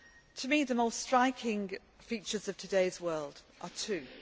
To me, the most striking features of today's world are twofold.